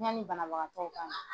Yanni banabagatɔw ka na.